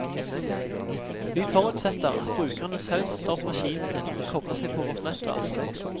Vi forutsetter at brukerne selv setter opp maskinen sin og kobler seg på vårt nettverk.